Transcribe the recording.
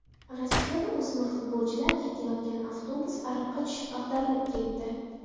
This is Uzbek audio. Rossiyada o‘smir futbolchilar ketayotgan avtobus ariqqa tushib, ag‘darilib ketdi.